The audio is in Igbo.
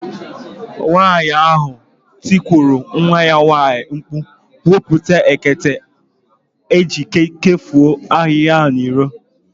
Nwaanyị ahụ tikuru nwa ya nwaanyị mkpụ̀, "Wepụta ekete eji ekpofu ahihia ahụ n'iro!"